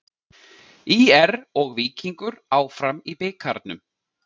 ÍR og Víkingur áfram í bikarnum